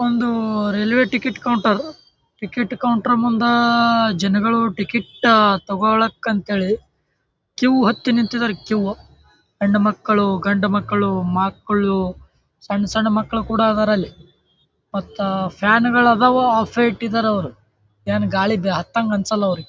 ಒಂದು railway ticket counter ticket counter ಮುಂದ ಅಹ್ ಜನಗಳ ಟಿಕೆಟ್ ತೋಕೋಳಕಂತ ಹೇಳಿ ಕ್ಯೂ ಹತ್ತಿ ನಿಂತಿದ್ದಾರ ಕ್ಯೂ . ಹೆಣ್ಣು ಮಕ್ಕಳು ಗಂಡು ಮಕ್ಕಳು ಮಕ್ಕಳು ಸಣ್ಣ-ಸಣ್ಣ ಮಕ್ಕಳು ಕೂಡ ಅದಾರ ಅಲ್ಲಿ. ಮತ್ತ ಫ್ಯಾನ್ ಗಳ ಅದಾವ ಆಫೇ ಇಟ್ಟಿದರ ಅವ್ರು ಏನ್ ಗಾಳಿ ಹತ್ತಂಗ್ ಅನ್ನಸಲ್ಲಾ ಅವ್ರಿಗ .